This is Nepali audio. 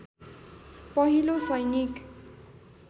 पहिलो सैनिक